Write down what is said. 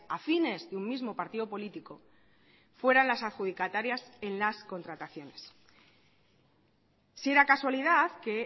afines de un mismo partido político fueran las adjudicatarias en las contrataciones si era casualidad que